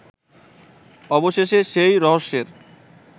অবশেষে সেই রহস্যের